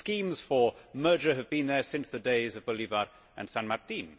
the schemes for merger have been there since the days of Bolivar and San Martín.